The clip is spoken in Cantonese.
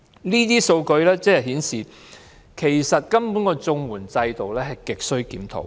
這些數據顯示綜援制度亟需檢討。